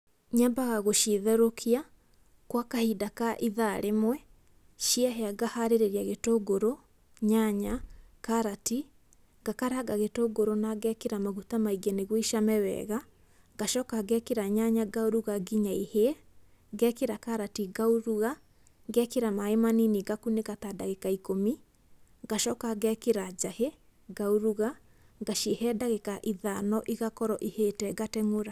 Nyambaga gũcitherũkia gwa kahinda ka ithaa rĩmwe, ciahĩa ngaharĩria gitũngũrũ, nyanya, karati, ngakaranga gitũngũrũ na ngekĩra maguta maingĩ nĩguo icame wega, ngacoka ngekĩra nyanya ngauruga nginya ihĩe, ngekĩra karati ngauruga, ngekĩra maĩ manini ngakunĩka ta ndagĩka ikũmi, ngacoka ngekĩra njahi ngauruga, ngacihe ndagĩka ithano igakorwo ihĩte ngateng'ũra.